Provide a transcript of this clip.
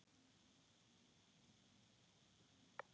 Verst ef hvoru tveggja er.